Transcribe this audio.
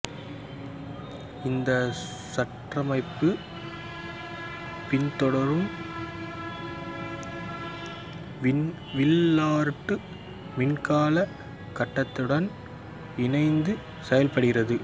இந்தச் சுற்றமைப்பு பின்தொடரும் வில்லார்டு மின்கலக் கட்டத்துடன் இணைந்தே செயல்படுகிறது